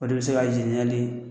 O de bɛ se k'a